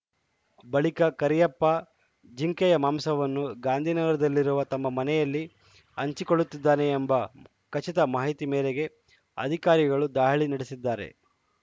ಬಳಿಕ ಕರಿಯಪ್ಪ ಜಿಂಕೆಯ ಮಾಂಸವನ್ನು ಗಾಂಧಿನಗರದಲ್ಲಿರುವ ತಮ್ಮ ಮನೆಯಲ್ಲಿ ಹಂಚಿಕೊಳ್ಳುತ್ತಿದ್ದಾನೆ ಎಂಬ ಖಚಿತ ಮಾಹಿತಿ ಮೇರೆಗೆ ಅಧಿಕಾರಿಗಳು ದಾಳಿ ನಡೆಸಿದ್ದಾರೆ